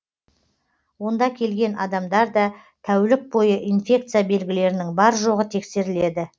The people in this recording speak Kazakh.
онда келген адамдарда тәулік бойы инфекция белгілерінің бар жоғы тексеріледі